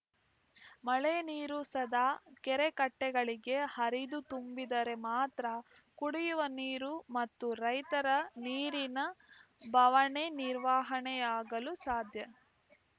ಮಳೆ ನೀರು ಸದಾ ಕೆರೆ ಕಟ್ಟೆಗಳಿಗೆ ಹರಿದು ತುಂಬಿದರೆ ಮಾತ್ರ ಕುಡಿಯುವ ನೀರು ಮತ್ತು ರೈತರ ನೀರಿನ ಬವಣೆ ನಿರ್ವಹಣೆ ಯಾಗಲು ಸಾಧ್ಯ